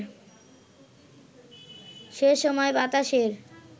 সেসময় বাতাসের